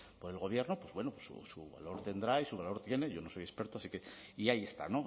por el gobierno pues bueno su valor tendrá y su valor tiene yo no soy experto así que y ahí está